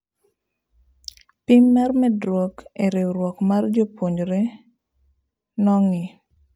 Pim mar medruok e riuruok mar jopuonjre nong'ii